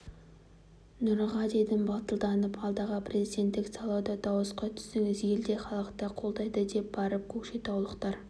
нұраға дедім батылданып алдағы президенттік сайлауға дауысқа түсіңіз ел де халық та қолдайды деп барып көкшетаулықтар